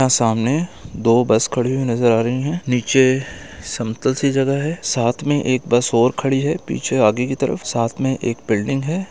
सामने दो बस खड़ी हुई नजर आ रही है नीचे समतल सी जगह है साथ में एक बस और खड़ी है पीछे आगे की तरफ साथ में एक बिल्डिंग है।